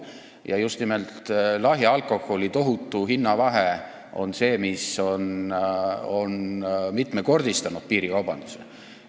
Ja just nimelt lahja alkoholi hinna tohutu vahe on mitmekordistanud piirikaubanduse.